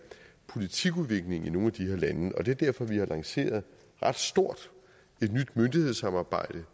politikudviklingen i nogle af de her lande det er derfor vi har lanceret et ret stort nyt myndighedssamarbejde